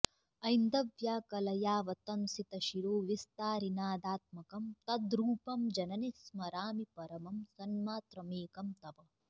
ऐन्दव्या कलयावतंसितशिरोविस्तारिनादात्मकं तद्रूपं जननि स्मरामि परमं सन्मात्रमेकं तव